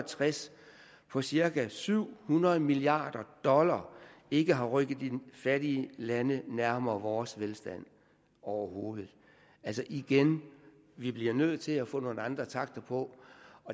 tres på cirka syv hundrede milliard dollar ikke har rykket de fattige lande nærmere vores velstand overhovedet altså igen vi bliver nødt til at få nogle andre takter